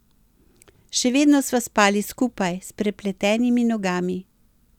Še vedno sva spali skupaj, s prepletenimi nogami.